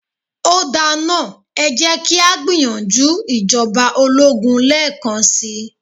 Ó da náà, ẹ jẹ́ kí á gbìyànjú ìjọba ológun lẹ́ẹ́kan si.